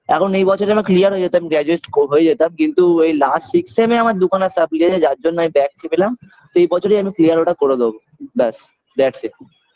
এখন এই বছরে আমার clear হয়ে যেতাম graduate হয়ে যেতাম কিন্তু last six সেমে আমার দুখানা supply যার জন্য আমি back পেলাম এই বছরই আমি clear ওটা করে দেবো ব্যাস that's it